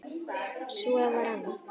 Svo var annað.